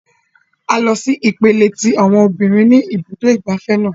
A lọ sí ipele tí àwọn obìnrin ní ibùdó ìgbafẹ́ náà.